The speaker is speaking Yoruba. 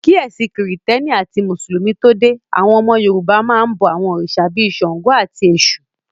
Kí ẹ̀sìn krìstẹ́nì àti mùsùlùmí tó dé, àwọn ọmọ Yorùbá máa n bọ àwọn òrìṣà bíi ṣàngó, àti èṣù